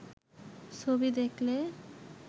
ছবি দেখলে